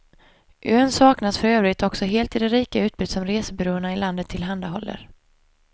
Ön saknas för övrigt också helt i det rika utbud som resebyråerna i landet tillhandahåller.